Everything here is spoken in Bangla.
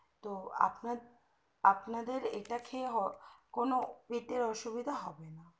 তো আপনার আপনাদের এটা খেয়ে কোনো পেটের অসুবিধা হবে না